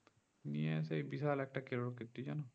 এ নিয়ে বিশাল একটা কেলোরকীর্তি জানো